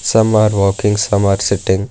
Some are walking some are sitting.